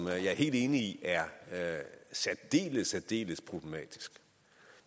er jeg helt enig i er særdeles særdeles problematisk